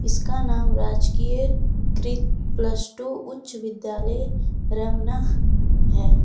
इसका नाम राजकीय कृत प्लस टू उच्च विद्यालय रमना है।